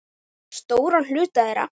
Alla vega stóran hluta þeirra.